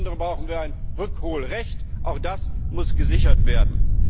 Insbesondere brauchen wir ein Rückholrecht, auch das muss gesichert werden.